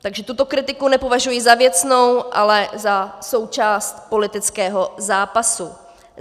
Takže tuto kritiku nepovažuji za věcnou, ale za součást politického zápasu.